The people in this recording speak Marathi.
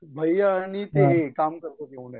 भैया आणि ते काम करतात